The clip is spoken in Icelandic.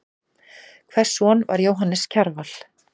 Hvers son var Jóhannes Kjarval?